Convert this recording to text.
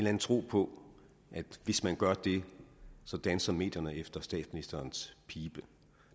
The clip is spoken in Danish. anden tro på at hvis man gør det danser medierne efter statsministerens pibe